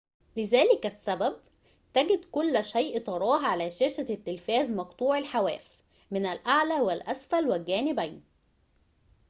لذلك السبب تجد كل شيء تراه على شاشة التلفاز مقطوع الحواف من الأعلى والأسفل و الجانبين